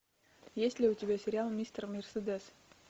есть ли у тебя сериал мистер мерседес